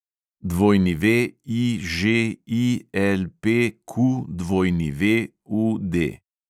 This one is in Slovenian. WIŽILPQWUD